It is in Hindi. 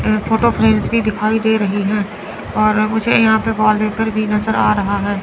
यहां फोटो फ्रेम्स भी दिखाई दे रही है और मुझे यहां पे वॉलपेपर भी नजर आ रहा है।